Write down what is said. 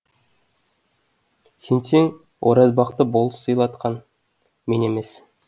сенсең оразбақты болыс сыйлатқан мен емес